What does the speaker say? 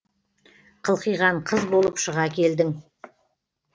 қылқиған қыз болып шыға келдің